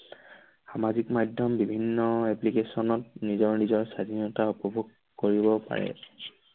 সামাজিক মাধ্যম বিভিন্ন application ত নিজৰ নিজৰ স্বাধীনতা উপভোগ কৰিব পাৰে।